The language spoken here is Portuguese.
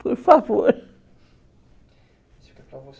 Por favor.